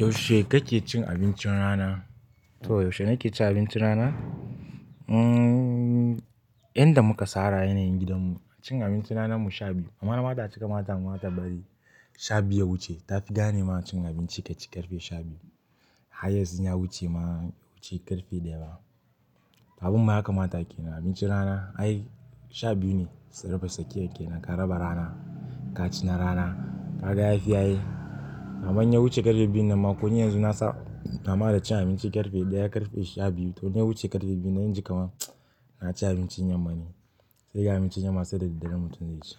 Yaushe kake cin abincin rana? To yaushe nake cin abincin rana? Mm, inda muka sara yanayin gidanmu cin abincin ranar mu sha biyu. Mamana bata cika ma damuwa ta bari sha biyu ya wuce ta fi gane mana cin abinci kafin karfe sha biyu. Highest in ya wuce ma bai wuce karfe daya ba abinda yakamata kenan abincin rana ai sha biyu ne karaba tsakiya kenan kaci na rana kaga yafi ai koni yanxu na saba cin abinci karfe daya karfe sha biyu to inya wuce karfe biyunnan sai naji kamar naci abincin yamma ne sai ga abinci yamma sai da daddare mutum zai ci.